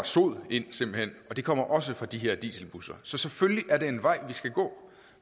sod ind og det kommer også fra de her dieselbusser så selvfølgelig er det en vej vi skal gå